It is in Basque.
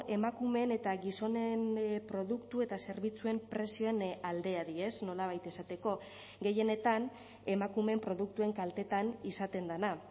emakumeen eta gizonen produktu eta zerbitzuen prezioen aldeari nolabait esateko gehienetan emakumeen produktuen kaltetan izaten dena